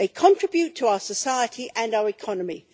They contribute to our society and our economy.